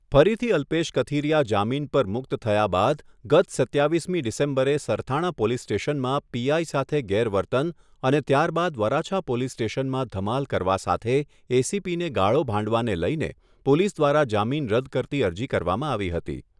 ફરીથી અલ્પેશ કથિરીયા જામીન પર મુક્ત થયા બાદ ગત સત્તાવીસમી ડિસેમ્બરે સરથાણા પોલીસ સ્ટેશનમાં પીઆઈ સાથે ગેરવર્તન અને ત્યારબાદ વરાછા પોલીસ સ્ટેશનમાં ધમાલ કરવા સાથે એસીપીને ગાળો ભાંડવાને લઈને પોલીસ દ્વારા જામીન રદ્દ કરતી અરજી કરવામાં આવી હતી